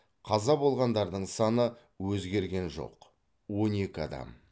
қаза болғандардың саны өзгерген жоқ он екі адам